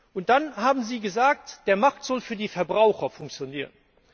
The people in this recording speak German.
Und dann haben Sie gesagt, der Markt soll für die Verbraucher funktionieren.